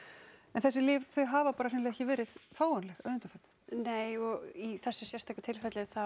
en þessi lyf hafa ekki verið fáanleg að undanförnu nei og í þessu sérstaka tilfelli